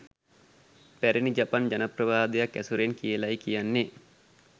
පැරණි ජපන් ජනප්‍රවාදයක් ඇසුරෙන් කියලයි කියන්නෙ